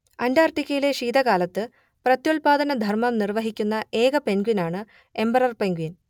അന്റാർട്ടിക്കയിലെ ശീതകാലത്ത് പ്രത്യുത്പാദനധർമ്മം നിർവഹിക്കുന്ന ഏക പെൻഗ്വിനാണ് എമ്പറർ പെൻഗ്വിൻ